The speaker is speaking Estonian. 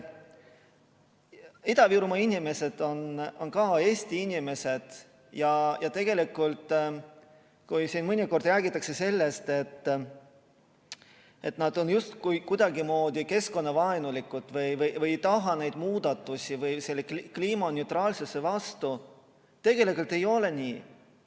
Ida-Virumaa inimesed on ka Eesti inimesed ja kui siin mõnikord räägitakse sellest, et nad on justkui kuidagimoodi keskkonnavaenulikud või ei taha neid muudatusi või on kliimaneutraalsuse vastu, siis see ei ole nii.